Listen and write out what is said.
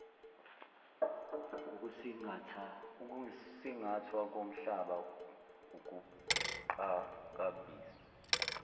ukusingathwa komhlaba ukuqhakambisa